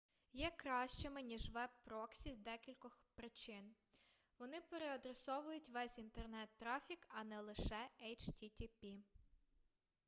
є кращими ніж веб-проксі з декількох причин вони переадресовують весь інтернет-трафік а не лише http